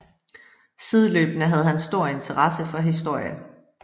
Sideløbende havde han stor interesse for historie